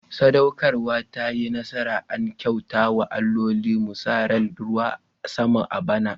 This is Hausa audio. Sadaukarwa ta yi nasara, an kyauta wa alloli. Mu sa ran ruwan sama a bana.